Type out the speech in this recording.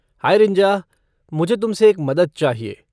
High रिंजा, मुझे तुमसे एक मदद चाहिए।